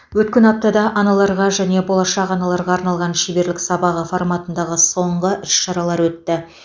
өткен аптада аналарға және болашақ аналарға арналған шеберлік сабағы форматындағы соңғы іс шаралар өтті